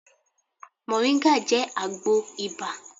Mọ̀nríńgà jẹ́ àgbo ibà